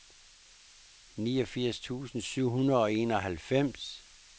niogfirs tusind syv hundrede og enoghalvfems